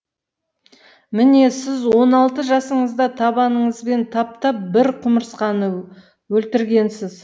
міне сіз он алты жасыңызда табаныңызбен таптап бір құмырсқаны өлтіргенсіз